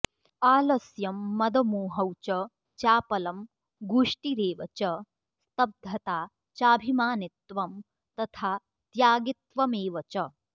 आलस्यं मदमोहौ च चापलं गूष्टिरेव च स्तब्धता चाभिमानित्वं तथाऽत्यागित्वमेव च